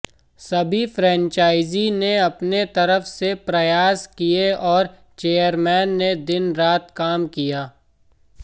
सभी फ्रेंचाइजी ने अपनी तरफ से प्रयास किये और चेयरमैन ने दिन रात काम किया